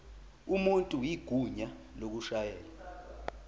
umuntu igunya lokushayela